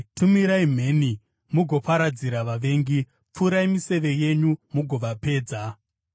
Tumirai mheni mugoparadzira vavengi; pfurai miseve yenyu mugovapedza.